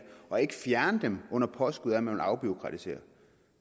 og ikke fjerne dem under påskud af at man vil afbureaukratisere